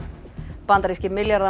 bandaríski